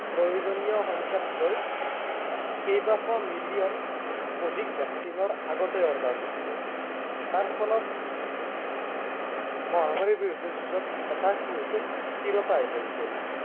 প্ৰয়োজনীয় সংখ্য়াতকৈ, কেইবাশ মিলিয়ন, অধিক vaccine ৰ আগতেই order দিছিলে। তাৰফলত মহামাৰীৰ বিৰুদ্ধে যুঁজত এটা কি হৈছিল, স্থিৰতা আহি পৰিছিল।